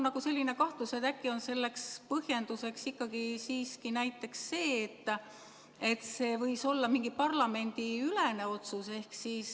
Aga mul on kahtlus, et äkki on põhjuseks ikkagi näiteks see, et see võis olla mingi parlamendiülene otsus.